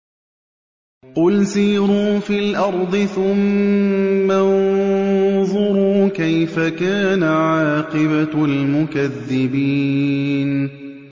قُلْ سِيرُوا فِي الْأَرْضِ ثُمَّ انظُرُوا كَيْفَ كَانَ عَاقِبَةُ الْمُكَذِّبِينَ